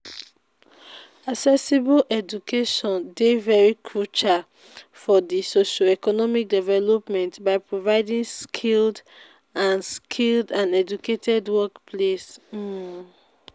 accessible education dey very crucial for di socio-economic development by providing skilled and skilled and educated workplace. um